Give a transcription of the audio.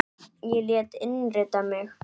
Ég lét innrita mig í